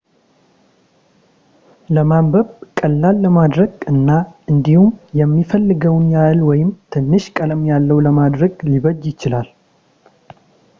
ለማንበብ ቀላል ለማድረግ እና እንዲሁም የሚፈለገውን ያህል ወይም ትንሽ ቀለም ያለው ለማድረግ ሊበጅ ይችላል